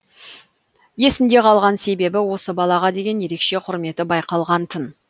есінде қалған себебі осы балаға деген ерекше құрметі байқалған тын